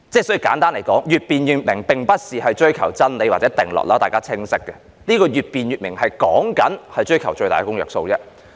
所以簡單來說，越辯越明並不是追求真理或定律，這點大家很清楚，越辯越明所指的是追求最大公約數。